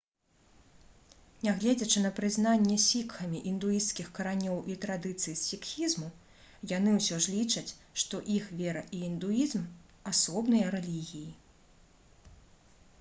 нягледзячы на прызнанне сікхамі індуісцкіх каранёў і традыцый сікхізму яны ўсё ж лічаць што іх вера і індуізм асобныя рэлігіі